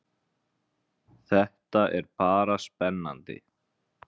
Þetta er bara spennandi